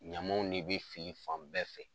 Ɲamanw de be fili fan bɛɛ fɛ.